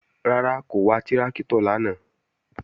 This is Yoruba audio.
Rárá, kò wa tráktọ̀ lánàá